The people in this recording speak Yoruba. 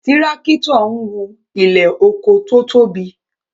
Tírákítọ̀ ń wú ilẹ̀ oko tó tóbi